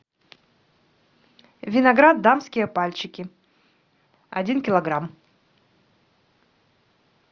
виноград дамские пальчики один килограмм